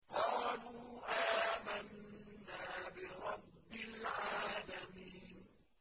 قَالُوا آمَنَّا بِرَبِّ الْعَالَمِينَ